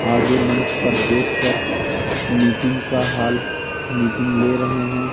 आगे मंच पर देखकर मीटिंग का हॉल मीटिंग ले रहे हैं।